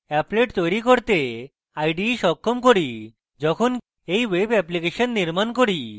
applet তৈরী করতে ide সক্ষম করি যখনই এই web অ্যাপ্লিকেশন নির্মাণ করি